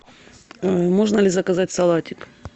можно ли заказать салатик